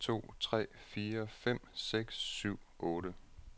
Tester en to tre fire fem seks syv otte.